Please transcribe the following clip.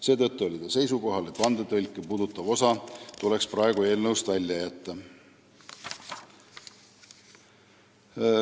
Seetõttu oli ta seisukohal, et vandetõlke puudutav osa tuleks eelnõust välja jätta.